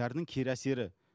дәрінің кері әсері